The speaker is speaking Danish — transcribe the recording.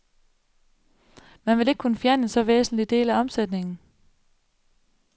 Man vil ikke kunne fjerne en så væsentlig del af omsætningen.